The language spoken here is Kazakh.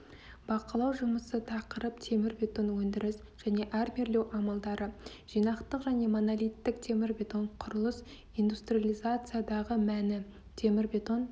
бақылау жұмысы тақырып темірбетон өндіріс және армирлеу амалдары жинақтық және монолиттік темірбетон құрылыс индустриализациядағы мәні темірбетон